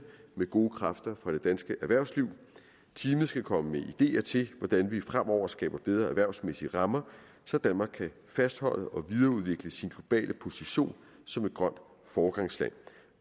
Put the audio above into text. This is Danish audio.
med gode kræfter fra det danske erhvervsliv teamet skal komme med ideer til hvordan vi fremover skaber bedre erhvervsmæssige rammer så danmark kan fastholde og videreudvikle sin globale position som et grønt foregangsland